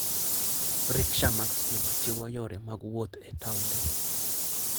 Riksha mag stima chiwo yore mag wuoth e taonde.